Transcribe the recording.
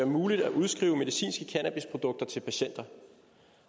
muligt at udskrive medicinske cannabisprodukter til patienter